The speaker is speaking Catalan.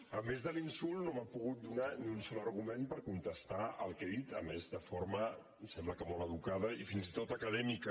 a més de l’insult no m’ha pogut donar ni un sol argument per contestar el que he dit a més de forma em sembla que molt educada i fins i tot acadèmica